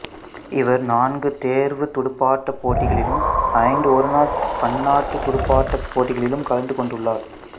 இவர் நான்கு தேர்வுத் துடுப்பாட்டப் போட்டிகளிலும் ஐந்து ஒருநாள் பன்னாட்டுத் துடுப்பாட்டப்போட்டிகளிலும் கலந்து கொண்டுள்ளார்